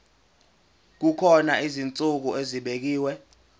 kukhona izinsuku ezibekiwe